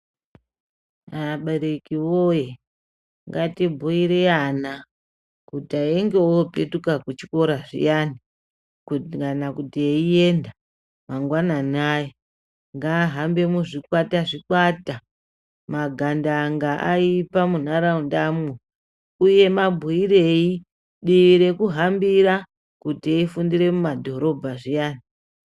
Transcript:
Abereki woyee, ngatibhuire ana kuti einge opetuke kuchikora zviyani kuti kana eiyenda mangwanani aya ,ngaahambe muzvikwata-zvikwata. Magandanga aipa munharaundamwo uye mabhuirei dii rekuhambira kuti eifundira mumadhorobha zviyani.